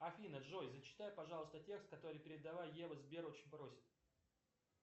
афина джой зачитай пожалуйста текст который передала ева сбер очень просит